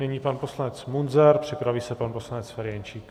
Nyní pan poslanec Munzar, připraví se pan poslanec Ferjenčík.